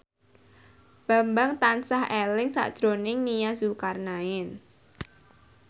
Bambang tansah eling sakjroning Nia Zulkarnaen